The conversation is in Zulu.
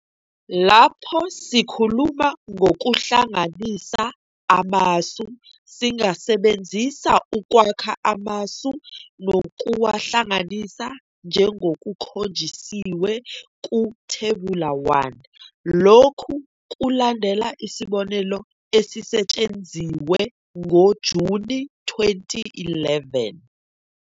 Lapho sikhuluma ngokuhlanganisa amasu singasebenzisa ukwakha amasu nokuwahlanganisa njengokukhonjisiwe ku-thebula 1. Lokhu kulandela isibonelo esisetshenziwe ngoJuni 2011.